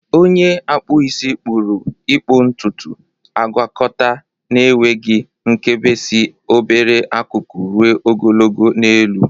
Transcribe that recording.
Onye okpụ isi kpuru ịkpụ ntutu, agwakọta n'enweghị nkebi si obere akụkụ ruo ogologo n'elu.